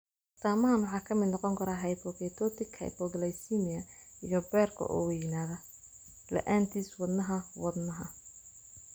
Astaamahaan waxaa ka mid noqon kara hypoketotic hypoglycemia iyo beerka oo weynaada (la'aantiis wadnaha wadnaha).